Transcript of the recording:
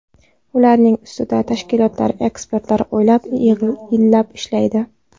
Ularning ustida tashkilotlar, ekspertlar oylab, yillab ishlaydi.